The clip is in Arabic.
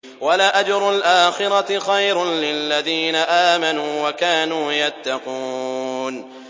وَلَأَجْرُ الْآخِرَةِ خَيْرٌ لِّلَّذِينَ آمَنُوا وَكَانُوا يَتَّقُونَ